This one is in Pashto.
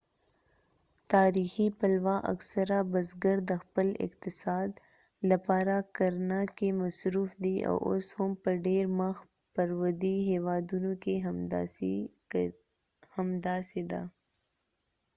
تاریخي پلوه اکثره بزګر د خپل اقتصاد لپاره کرنه کې مصروف دي او اوس هم په ډیر مخ پر ودې هیوادونو کې همداسې ده